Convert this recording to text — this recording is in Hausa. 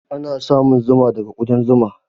Ana samun Zuma daga kudan Zuma.